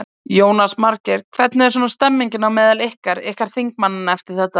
Jónas Margeir: Hvernig er svona stemningin á meðal ykkar, ykkar þingmannanna eftir þetta?